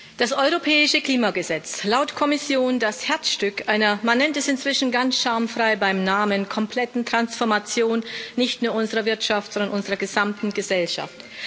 Frau Präsidentin! Das Europäische Klimagesetz laut Kommission das Herzstück einer man nennt es inzwischen ganz schamfrei beim Namen kompletten Transformation nicht nur unserer Wirtschaft, sondern unserer gesamten Gesellschaft.